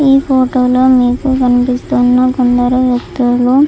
ఈ ఫోటో లో మీకు కనిపిస్తున్న కొందరు వ్యక్తులు --